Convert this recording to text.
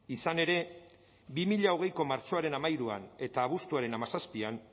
izan ere bi mila hogeiko martxoaren hamairuan eta abuztuaren hamazazpian